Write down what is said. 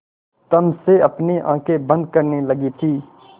तम से अपनी आँखें बंद करने लगी थी